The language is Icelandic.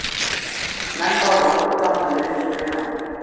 Menn báru óttablandna virðingu fyrir honum